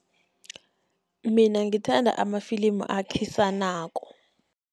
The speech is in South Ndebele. Mina ngithanda amafilimu akhisanako.